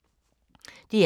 DR2